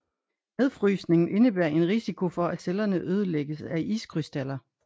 Nedfrysningen indebærer en risiko for at cellerne ødelægges af iskrystaller